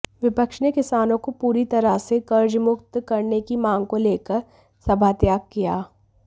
विपक्ष ने किसानों को पूरी तरह से कर्जमुक्त करने की मांग को लेकर सभात्याग किया